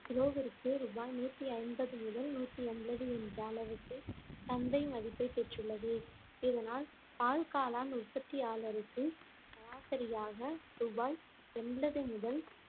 கிலோவிற்கு ரூபாய் நூத்தி ஐம்பது முதல் நூத்தி எண்பது என்ற அளவுக்கு சந்தை மதிப்பைப் பெற்றுள்ளது இதனால் பால்காளான் உற்பத்தியாளருக்கு சராசரியாக ரூபாய் எண்பது முதல்